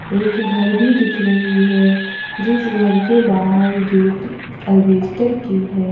एक घर भी दिख रही है जिस घर के बाहर गेट अल्बेस्टर की है।